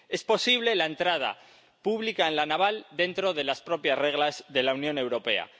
Es posible la entrada pública en La Naval dentro de las propias reglas de la Unión Europea.